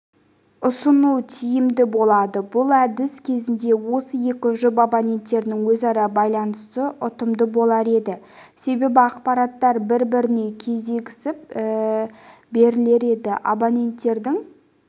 ұсыну тиімді болады бұл әдіс кезінде осы екі жұп абоненттерінің өзара байланысы ұтымды болар еді себебі ақпараттар бір-біріне кедергісіз берілер еді абоненттердің